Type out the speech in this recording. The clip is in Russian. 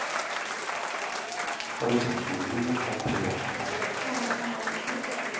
продиктуй номер отеля